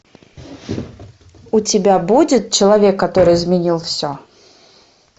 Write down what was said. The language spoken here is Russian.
у тебя будет человек который изменил все